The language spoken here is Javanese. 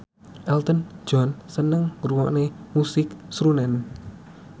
Elton John seneng ngrungokne musik srunen